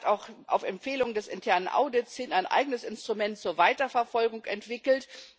Sie hat auch auf Empfehlung des internen Audits hin ein eigenes Instrument zur Weiterverfolgung entwickelt.